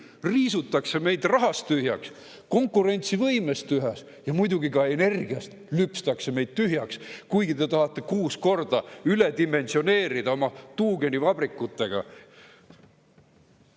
Meid riisutakse rahast tühjaks, konkurentsivõimest tühjaks ja muidugi ka energiast lüpstakse meid tühjaks, kuigi te tahate kuus korda üledimensioneerida oma tuugenivabrikutega.